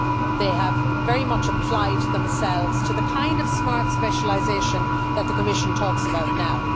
They have very much applied themselves to the kind of smart specialisation that the Commission talks about now.